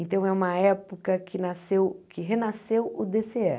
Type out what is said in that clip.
Então é uma época que nasceu que renasceu o dê cê é.